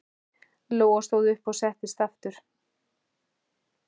Lóa stóð upp og settist aftur.